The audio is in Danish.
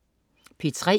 P3: